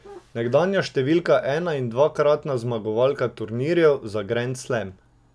Nekdanja številka ena in dvakratna zmagovalka turnirjev za grand slam.